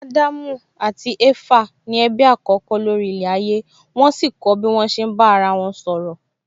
Ádámù àti Éfà ni ẹbí àkọ́kọ́ lórí ilẹ̀ ayé wón sì kọ́ bí wón ṣe ń bá ara wọn sọ̀rọ̀